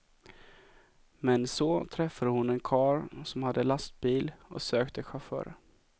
Men så träffade hon en karl som hade lastbil och sökte chaufförer.